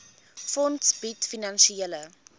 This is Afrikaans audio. fonds bied finansiële